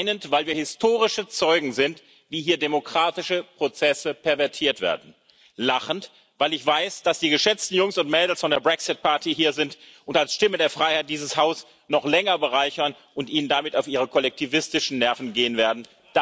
Weinend, weil wir historische Zeugen sind, wie hier demokratische Prozesse pervertiert werden, und lachend, weil ich weiß, dass die geschätzten Jungs und Mädels von der Brexit Party hier sind und als Stimme der Freiheit dieses Haus noch länger bereichern und Ihnen damit auf Ihre kollektivistischen Nerven gehen werden.